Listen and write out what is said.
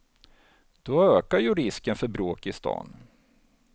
Då ökar ju risken för bråk i stan.